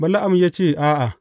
Bala’am ya ce, A’a.